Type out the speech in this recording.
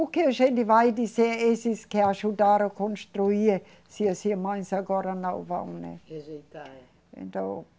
O que a gente vai dizer a esses que ajudaram a construir se as irmãs agora não vão, né? Rejeitar, é. Então